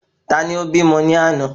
Tani o bímọ ni àná?